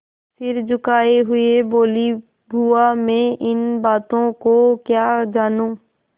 सिर झुकाये हुए बोलीबुआ मैं इन बातों को क्या जानूँ